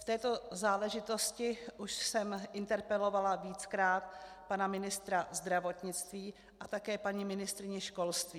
V této záležitosti už jsem interpelovala víckrát pana ministra zdravotnictví a také paní ministryni školství.